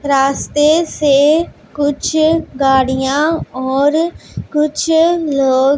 रास्ते से कुछ गाड़ियां और कुछ लोग --